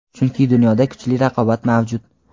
chunki dunyoda kuchli raqobat mavjud.